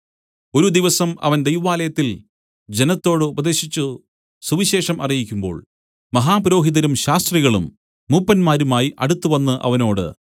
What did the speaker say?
ഒരു ദിവസം അവൻ ദൈവാലയത്തിൽ ജനത്തോടു ഉപദേശിച്ചു സുവിശേഷം അറിയിക്കുമ്പോൾ മഹാപുരോഹിതരും ശാസ്ത്രികളും മൂപ്പന്മാരുമായി അടുത്തുവന്ന് അവനോട്